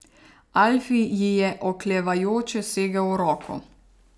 Alfi ji je oklevajoče segel v roko.